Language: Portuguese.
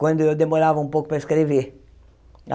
quando eu demorava um pouco para escrever.